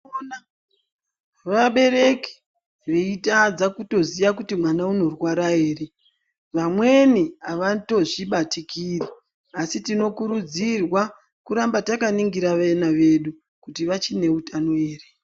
Ukaona vabereki veitadza kutoziya kuti mwana unorwara ere, vamweni avatozvibatikiri ,asi tinokurudzirwa kuramba takaningira vena vedu, kuti vachinge utano ere .